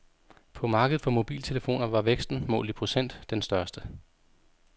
På markedet for mobiltelefoner var væksten, målt i procent, den største.